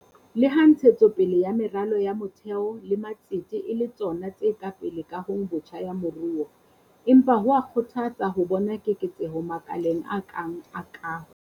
Leha ntshetso pele ya meralo ya motheo le matsete e le tsona tse pele kahong botjha ya moruo, empa ho a kgothatsa ho bona keketseho makaleng a kang la kaho.